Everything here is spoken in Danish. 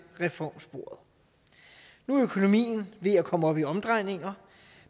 reformsporet nu er økonomien ved at komme op i omdrejninger